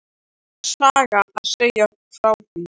Það er saga að segja frá því.